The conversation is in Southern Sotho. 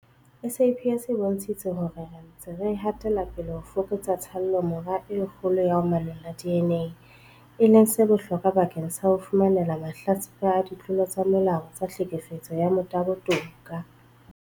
SAPS e bontshitse hore re ntse re hatela pele ho fokotsa tshallomora e kgolo ya ho manolla DNA, e leng se bohlokwa bakeng sa ho fumanela mahlatsipa a ditlolo tsa molao tsa tlhekefetso ya motabo toka.